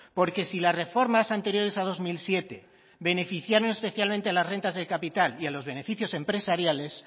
porque si las reformas anteriores a dos mil siete beneficiaron especialmente a las rentas de capital y a los beneficios empresariales